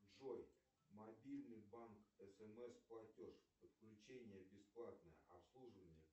джой мобильный банк смс платеж подключение бесплатное обслуживание